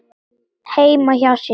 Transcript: heima hjá sér.